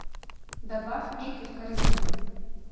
добавь меки в корзину